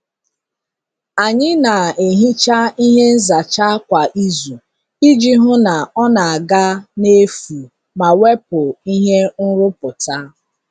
Anyị na-ehicha ihe nzacha kwa izu iji hụ na ọ na-aga n'efu ma wepụ ihe nrụpụta.